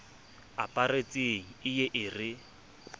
aparetseng e ye e re